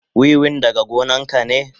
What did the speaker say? Wiwin daga gonan ka ne?